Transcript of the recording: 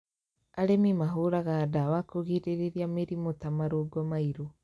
Arĩmi mahũraga ndawa kũgirĩrĩria mĩrimũ ta marũngo mairũ